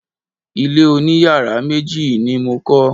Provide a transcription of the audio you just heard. Ilé oniyàrá méjì ni mo kọ́.